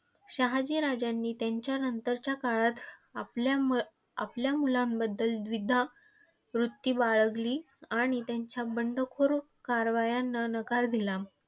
शहाजी राजांनी त्यांच्या नंतरच्या काळात आपल्या मुआपल्या मुलांबद्दल द्विधा वृत्ती बाळगली आणि त्यांच्या बंडखोर कारवायांना नकार दिला.